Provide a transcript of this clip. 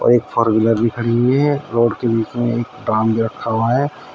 और एक four wheeler खड़ी हुई है फ्लोर के बीच में एक ड्रम रखा हुआ है।